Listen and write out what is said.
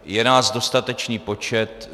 Je nás dostatečný počet.